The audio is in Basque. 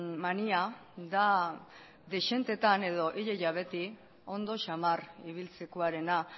mania da dezenteetan edo ia ia beti ondo xamar ibiltzekoarena